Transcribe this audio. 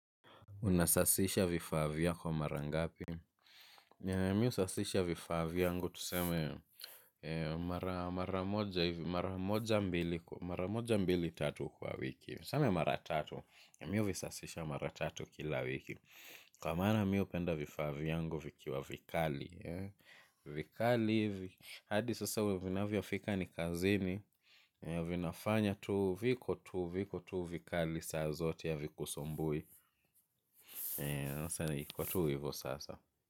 Unasasisha vifaa vyako mara ngapi? Mi husasisha vifaa vyangu tuseme mara moja mbili tatu kwa wiki. Tuseme mara tatu. Mi huvisasisha mara tatu kila wiki. Kwa maana mi hupenda vifaa vyangu vikiwa vikali. Vikali, hadi sasa ninavyofika ni kazini. Ninafanya tu viko tu viko tu vikali saa zote havikusumbui. Na sana inakuwa tu hivo sasa.